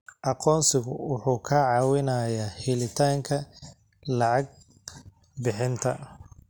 Aqoonsigu wuxuu kaa caawinayaa helitaanka lacag bixinta.